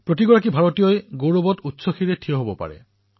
সকলো ভাৰতীয় শিৰ গৌৰৱত ঊৰ্ধমুখী হৈ পৰে